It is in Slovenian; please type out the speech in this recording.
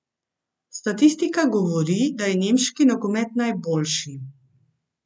Statistika govori, da je nemški nogomet najboljši.